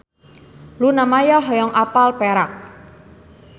Luna Maya hoyong apal Perak